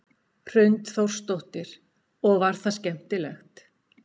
Hrund Þórsdóttir: Og var það skemmtilegt?